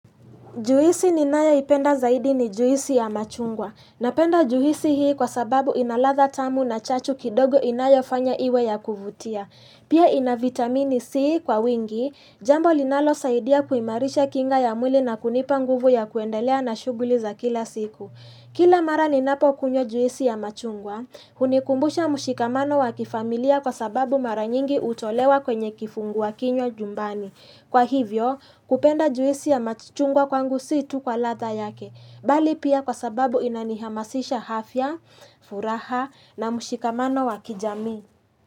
Juisi ninayo ipenda zaidi ni juisi ya machungwa. Napenda juisi hii kwa sababu inaladha tamu na chachu kidogo inayo fanya iwe ya kuvutia. Pia ina vitamini C kwa wingi, jambo linalo saidia kuimarisha kinga ya mwili na kunipa nguvu ya kuendelea na shughuli za kila siku. Kila mara ninapo kunywa juisi ya machungwa, hunikumbusha mushikamano wa kifamilia kwa sababu mara nyingi hutolewa kwenye kifungua kinywa jumbani. Kwa hivyo, kupenda juisi ya machungwa kwangu situ kwa ladha yake, bali pia kwa sababu inanihamasisha hafya, furaha na mushikamano wa kijamii.